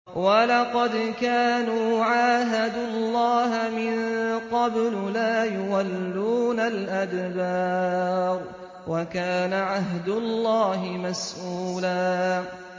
وَلَقَدْ كَانُوا عَاهَدُوا اللَّهَ مِن قَبْلُ لَا يُوَلُّونَ الْأَدْبَارَ ۚ وَكَانَ عَهْدُ اللَّهِ مَسْئُولًا